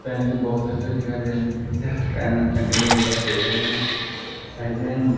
पानी के बॉक्स रखे हुए दिखाई दे रहे हैं रखे हुए दिखाई दे रहे हैं साइड में--